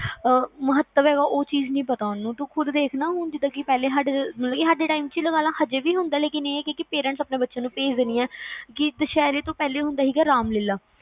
ਮਹੱਤਵ ਹੈਂ ਉਹ ਚੀਜ ਨੀ ਪਤਾ ਉਹਨੂੰ, ਤੂੰ ਖੁਦ ਦੇਖ ਕੇ ਸਾਡੇ time ਚ ਲਗਾ ਲਾ, ਅਜੇ ਵੀ ਹੁੰਦਾ, ਲੇਕਿਨ ਇਹ ਕਿ parents ਆਪਣੇ ਬਚਿਆ ਨੂੰ ਭੇਜਦੇ ਨੀ ਹੈਂ, ਕੀ ਦੁਸਹਿਰੇ ਤੋਂ ਪਹਿਲਾ ਹੁੰਦੀ ਸੀ ਰਾਮਲੀਲਾ